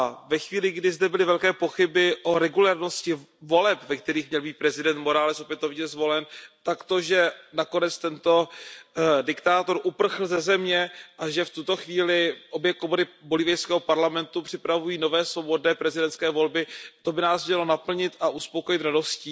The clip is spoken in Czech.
Ve chvíli, kdy zde byly velké pochyby o regulérnosti voleb, ve kterých měl být prezident Morales opětovně zvolen, tak to, že nakonec tento diktátor uprchl ze země a že v tuto chvíli obě komory bolívijského parlamentu připravují nové, svobodné prezidentské volby, by nás mělo uspokojit a naplnit radostí.